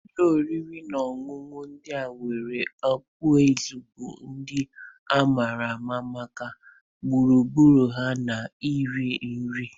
Ụlọ oriri na ọṅụṅụ ndị nwere okpueze bụ ndị a ma ama maka gburugburu ha na iri nri.